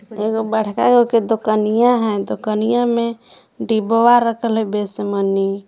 एगो बड़का गो के दुकनिया है दुकनिया मे डिब्ब्वा रखल है बेसमनी--